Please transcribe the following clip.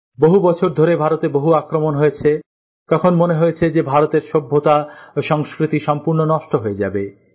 বহু বছর ধরে ভারতে বহু আক্রমণ হয়েছে তখন মনে হয়েছে যে ভারতের সভ্যতা ও সংস্কৃতি সম্পূর্ণ নষ্ট হয়ে যাবে